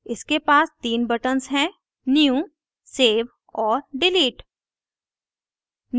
इसके पास तीन buttons हैंnew सेव और डिलीट